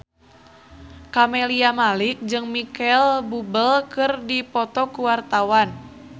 Camelia Malik jeung Micheal Bubble keur dipoto ku wartawan